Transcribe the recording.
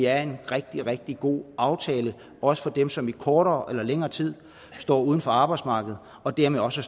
er en rigtig rigtig god aftale også for dem som i kortere eller længere tid står uden for arbejdsmarkedet og dermed også